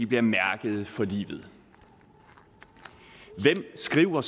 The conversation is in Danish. bliver mærket for livet hvem skriver